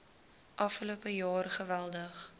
afgelope jaar geweldig